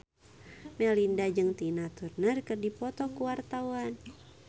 Melinda jeung Tina Turner keur dipoto ku wartawan